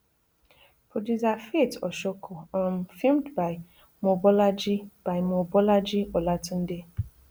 producer faith oshoko um filmed by mobolaji by mobolaji olatunde